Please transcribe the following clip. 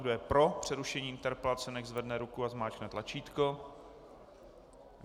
Kdo je pro přerušení interpelace, nechť zvedne ruku a zmáčkne tlačítko.